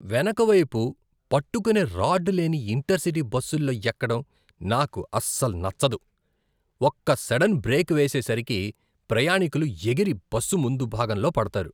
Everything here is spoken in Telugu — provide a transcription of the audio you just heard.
వెనకవైపు పట్టుకునే రాడ్ లేని ఇంటర్ సిటీ బస్సుల్లో ఎక్కడం నాకు అస్సలు నచ్చదు. ఒక్క సడన్ బ్రేక్ వేసేసరికి ప్రయాణికులు ఎగిరి బస్సు ముందు భాగంలో పడతారు.